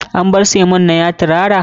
An bar sakon nan ya tirara?